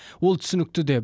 ол түсінікті де